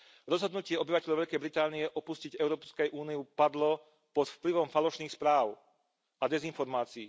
Rozhodnutie obyvateľov Veľkej Británie opustiť Európsku úniu padlo pod vplyvom falošných správ a dezinformácií.